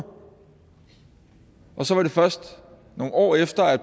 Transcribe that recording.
så var det først nogle år efter at